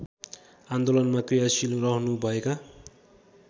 आन्दोलनमा क्रियाशील रहनुभएका